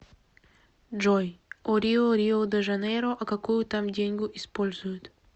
джой о рио рио де жанейро а какую там деньгу используют